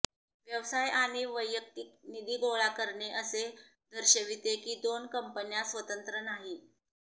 व्यवसाय आणि वैयक्तिक निधी गोळा करणे असे दर्शविते की दोन कंपन्या स्वतंत्र नाहीत